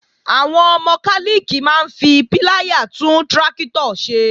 Àwọn mọkálìkì máa ń fi píláyà tún tráktọ̀ ṣe